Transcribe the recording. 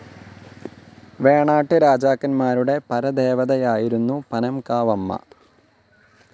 വേണാട്ട് രാജാക്കന്മാരുടെ പരദേവതയായിരുന്നു പനംകാവമ്മ.